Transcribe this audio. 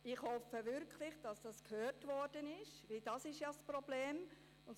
Ich hoffe wirklich, dass das gehört worden ist, weil das ja das Problem ist.